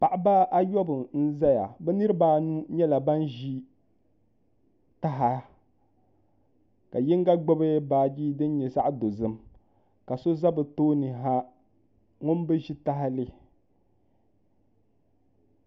Paɣaba ayobu n ʒɛya bi niraba anu nyɛla ban ʒi taha ka yinga gbubi baaji din nyɛ zaɣ dozim ka so ʒɛ bi tooni ha ŋun bi ʒi tahali